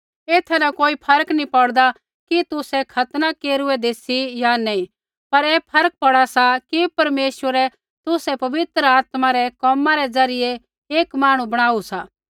एथा न कोई फर्क नैंई पौड़दा कि तुसै खतना केरुऐदै सी या नैंई पर ऐ फर्क पौड़ा सा कि परमेश्वरै तुसै पवित्र आत्मा रै कोमा रै ज़रियै एक मांहणु बणाऊ सा